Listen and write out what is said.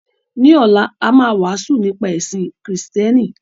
Ní ọ̀la, a máa wàásù nípa ẹ̀sìn Kristẹni.